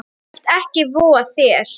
Þú skalt ekki voga þér!